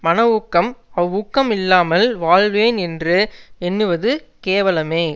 மன ஊக்கமே அவ்வூக்கம் இல்லாமல் வாழ்வேன் என்று எண்ணுவது கேவலமே